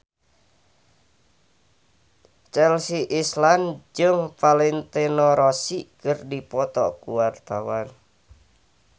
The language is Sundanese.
Chelsea Islan jeung Valentino Rossi keur dipoto ku wartawan